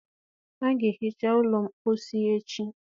A ga-ehicha ụlọ mposi echi.